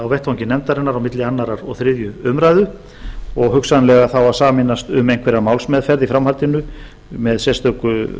á vettvangi nefndarinnar milli annars og þriðju umræðu og hugsanlega að sameinast um einhverja málsmeðferð í framhaldinu með sérstöku